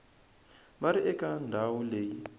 va ri eka ndhawu leyi